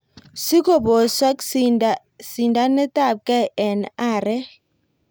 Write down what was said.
Sikoposok sindanetapkei en arek.